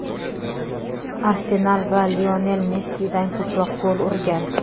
"Arsenal" va Lionel Messidan ko‘proq gol urgan.